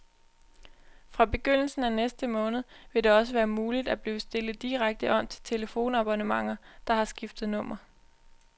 Fra begyndelsen af næste måned vil det også være muligt at blive stillet direkte om til telefonabonnenter, der har skiftet nummer.